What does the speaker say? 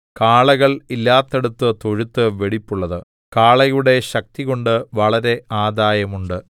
കാളകൾ ഇല്ലാത്തിടത്ത് തൊഴുത്ത് വെടിപ്പുള്ളത് കാളയുടെ ശക്തികൊണ്ട് വളരെ ആദായം ഉണ്ട്